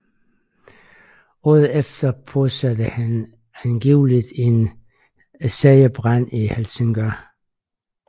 Året efter påsatte han angiveligt en serie brande i Helsingør